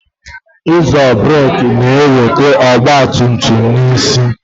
Ịzo burek na-eweta ọgba tum tum n'kwusi